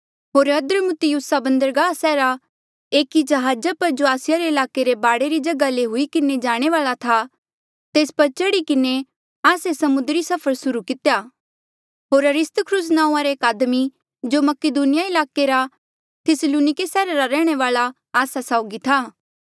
होर अद्रमुत्तियुमा बंदरगाह सैहरा रे एकी जहाजा पर जो आसिया रे ईलाके रे बाढे री जगहा ले हुई किन्हें जाणे वाल्आ था तेस पर चढ़ी किन्हें आस्से समुद्री सफर सुर्हू कितेया होर अरिस्तर्खुस नांऊँआं रा एक आदमी जो मकीदुनिया ईलाके रा थिस्सलुनिके सैहरा रा रैहणे वाल्आ आस्सा साउगी था